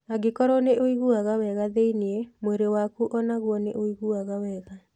Angĩkorũo nĩ ũiguaga wega thĩinĩ, mwĩrĩ waku o naguo nĩ ũiguaga wega.